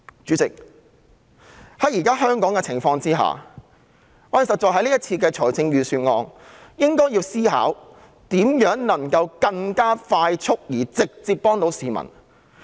主席，在香港目前的情況下，對於這份預算案，我們確實應該思考如何能夠更迅速、直接地協助市民。